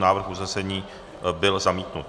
Návrh usnesení byl zamítnut.